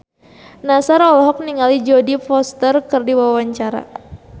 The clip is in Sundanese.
Nassar olohok ningali Jodie Foster keur diwawancara